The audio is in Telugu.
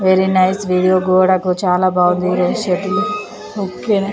వెరీ నైస్ వీడియో గోడకు చాలా బాగుంది ఈరోజు షటిల్ ఓకే న.